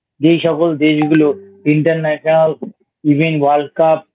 যেই সকল দেশগুলো International Even World Cup